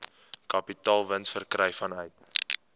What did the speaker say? kapitaalwins verkry vanuit